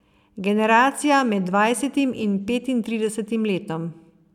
Generacija med dvajsetim in petintridesetim letom.